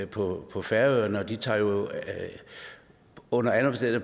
på på færøerne og de tager jo under alle